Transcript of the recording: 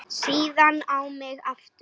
Síðan á mig aftur.